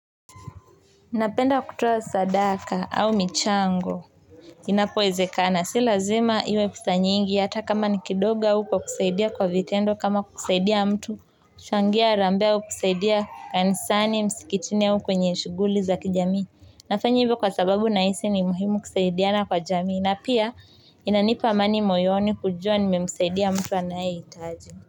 Napenda kutoa sadaka au michango inapowezekana si lazima iwe pesa nyingi ata kama ni kidogo au kwa kusaidia kwa vitendo kama kusaidia mtu kuchangia harambee au kusaidia kanisani msikitini au kwenye shughuli za kijamii nafanya hivyo kwa sababu nahisi ni muhimu kusaidiana kwa jamii na pia inanipa amani moyoni kujua nimemusaidia mtu anayehitaji.